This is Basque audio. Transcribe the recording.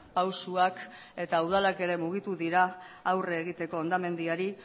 pausuak eta udalak ere mugitu dira aurre egiteko hondamendiari